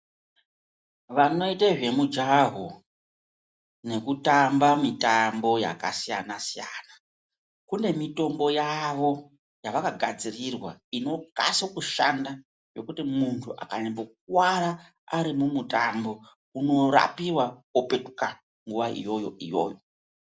Vanoite zvemujaho nekutamba mitambo yakasiyana-siyana kune mitombo yavo yavakagadzirirwa inokaso kushanda yekuti muntu akanyambokuvara ari mumutambo unorapiwa opetuka nguva iyoyo-iyoyo.